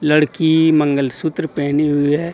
लड़की मंगलसूत्र पहनी हुई है।